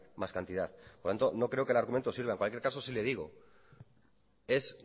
más cantidad por tanto no creo que el argumento sirva en cualquier caso sí le digo es